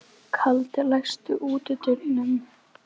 Kaldi, læstu útidyrunum.